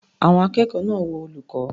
Àwọn akẹ́kọ̀ọ́ náà wo olùkọ́.